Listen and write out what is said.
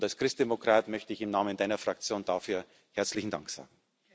Als Christdemokrat möchte ich im Namen Deiner Fraktion dafür herzlichen Dank sagen.